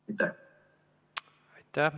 Aitäh!